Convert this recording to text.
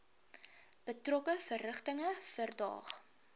betrokke verrigtinge verdaag